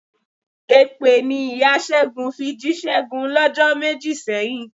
Èpè ni ìya Ṣẹ́gun fi jí Ṣẹ́gun lọ́jọ́ méjì sẹ́yìn.